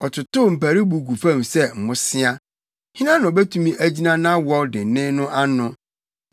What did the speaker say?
Ɔtotow mparuwbo gu fam sɛ mmosea. Hena na obetumi agyina nʼawɔw dennen no ano?